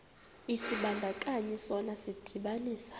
isibandakanyi sona sidibanisa